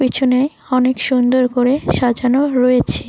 পিছনে অনেক সুন্দর করে সাজানো রয়েছে।